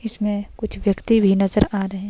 इसमें कुछ व्यक्ति भी नजर आ रहे--